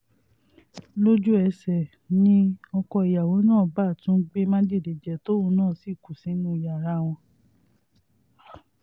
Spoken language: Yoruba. lójú-ẹsẹ̀ ni ọkọ ìyàwó náà bá tún gbé májèlé jẹ tóun náà sì kú sínú yàrá wọn